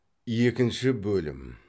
екінші бөлім